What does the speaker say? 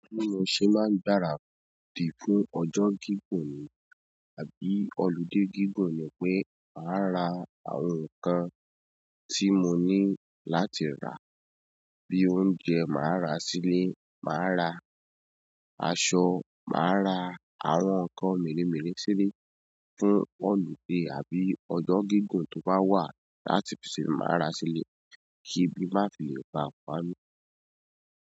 Bí mo ṣe máa ń gbáradì fún ọjọ́ gígùn ni àbí ọludé gígùn ni pé màá ra àwọn nǹkan tí mo ní láti rà bí i oúnjẹ màá rà sílẹ̀, màá rà aṣọ, màá rà àwọn nǹkan mèremère sílẹ̀ fún ọlude tàbí ọjọ́ gígùn tó ba wà, láti ṣe, máa ra sílè, kí ebi má file bàa pami.